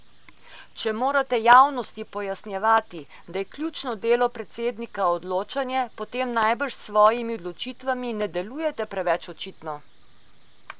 Če morate javnosti pojasnjevati, da je ključno delo predsednika odločanje, potem najbrž s svojimi odločitvami ne delujete preveč očitno.